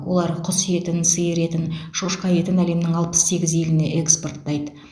олар құс етін сиыр етін шошқа етін әлемнің алпыс сегіз еліне экспорттайды